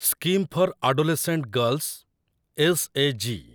Scheme for adolescent girls S A G.